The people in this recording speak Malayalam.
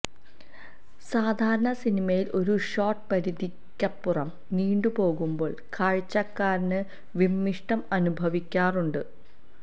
സാധാരണ സിനിമയിൽ ഒരു ഷോട്ട് പരിധിക്കപ്പുറം നീണ്ടുപോകുമ്പോൾ കാഴ്ചക്കാരന് വിമ്മിഷ്ടം അനുഭവിക്കാറുണ്ട്